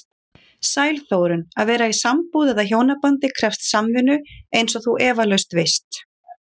Sæl Þórunn, að vera í sambúð eða hjónabandi krefst samvinnu eins og þú efalaust veist.